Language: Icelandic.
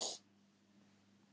Ég svitna.